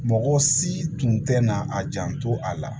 Mɔgɔ si tun tɛ na a janto a la